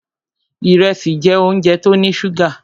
Ìrẹsì jẹ́ óúnjẹ tó ní ṣúgà.